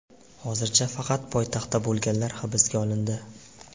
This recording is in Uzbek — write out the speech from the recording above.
Hozircha faqat poytaxtda bo‘lganlar hibsga olindi.